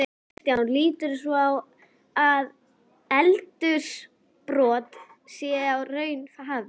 Kristján: Líturðu svo á að eldsumbrot séu í raun hafin?